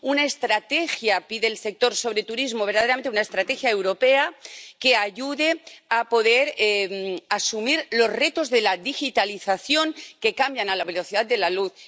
una estrategia —como pide el sector— sobre turismo, verdaderamente una estrategia europea, que ayude a poder asumir los retos de la digitalización, que cambian a la velocidad de la luz